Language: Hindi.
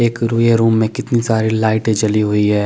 एक रुई है में कितनी साड़ी लाइटे जली हुई है।